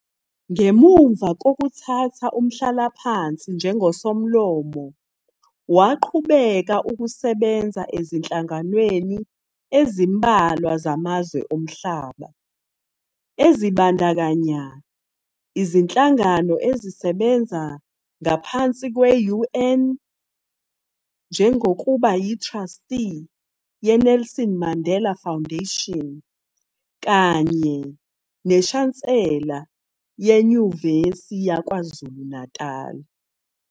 Ngemuva kokuthatha umhlalaphansi njengosomlomo, waqhubeka ukusebenza ezinhlanganweni ezmbalwa zamazwe omhlaba, ezibandakanya izinhlangano ezisebenza ngaphansi kwe-UN, njengokuba yi-Truestee yeNelson Mandela Foundation kanye neShansela yeNyuvesi yaKwaZulu Natali.